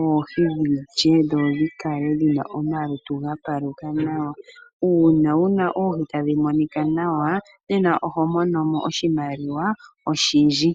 oohi dhilye dho dhikale dhina omalutu ga paluka nawa . Uuna wuna oohi tadhi monika nawa nena oho monomo oshimaliwa oshindji.